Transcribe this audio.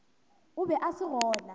o be a se gona